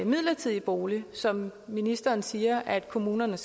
midlertidig bolig som ministeren siger at kommunerne